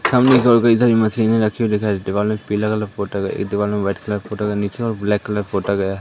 सामने इधर उधर कई सारी मशीने रखी हुई दिखाई देती है। दीवालो मे पीला कलर पोटा गया एक दिवालो मे व्हाइट कलर पोटा गया नीचे और ब्लैक कलर पोटा गया है।